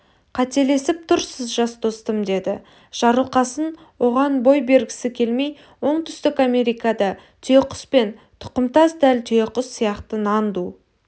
қателесіп тұрсыз жас достым деді жарылқасын оған бой бергісі келмей оңтүстік америкада түйеқұспен тұқымдас дәл түйеқұс сияқты нанду